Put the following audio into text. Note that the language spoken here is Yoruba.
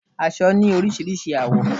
Aṣọ ni orísirísi àwọ́